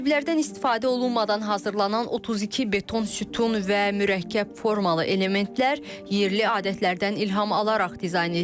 Qəliblərdən istifadə olunmadan hazırlanan 32 beton sütun və mürəkkəb formalı elementlər yerli adətlərdən ilham alaraq dizayn edilib.